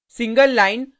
single line single line